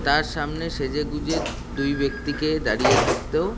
তার সামনে সেজেগুজে দুই ব্যক্তিকে দাঁড়িয়ে থাকতো ও--